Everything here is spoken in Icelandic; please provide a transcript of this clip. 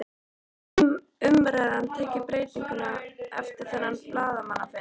Hefur umræðan tekið breytingum eftir þennan blaðamannafund?